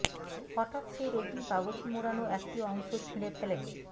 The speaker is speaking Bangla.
হঠাৎ সেই রঙিন কাগজে মোড়ানো একটি অংশ ছিঁড়ে ফেলেন